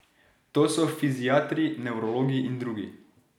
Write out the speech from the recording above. To so fiziatri, nevrologi in drugi.